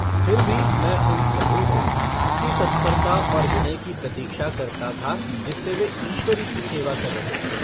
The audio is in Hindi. फिर भी मैं उन सभों से उसी तत्परता और विनय की प्रतीक्षा करता था जिससे वे ईश्वरी की सेवा कर रहे थे।